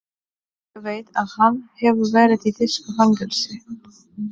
Ég veit að hann hefur verið í þýsku fangelsi.